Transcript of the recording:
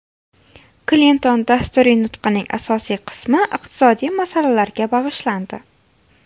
Klinton dasturiy nutqining asosiy qismi iqtisodiy masalalarga bag‘ishlandi.